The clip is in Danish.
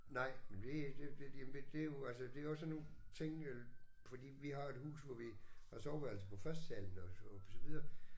Nej men det det det men det er jo altså det er jo sådan nogle ting øh fordi vi har jo et hus hvor vi har soveværelse på førstesalen og og så videre